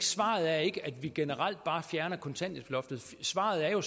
svaret er at vi generelt bare fjerner kontanthjælpsloftet svaret er jo